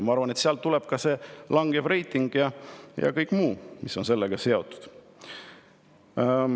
Ma arvan, et sealt tuleb ka see langev reiting ja kõik muu, mis on sellega seotud.